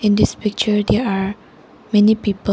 In this picture there are many people.